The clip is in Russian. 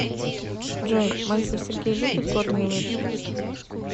джой мальцев сергей любит горные лыжи